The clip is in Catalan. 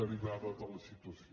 derivada de la situació